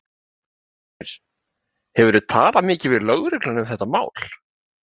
Ásgeir: Hefurðu talað mikið við lögregluna um þetta mál?